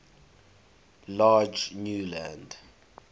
large new land